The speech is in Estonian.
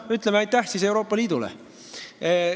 Ütleme siis Euroopa Liidule aitäh.